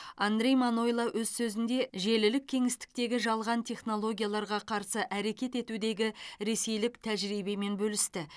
андрей манойло өз сөзінде желілік кеңістіктегі жалған технологияларға қарсы әрекет етудегі ресейлік тәжірибемен бөлісті